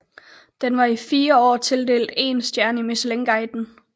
Den var i fire år tildelt én stjerne i Michelinguiden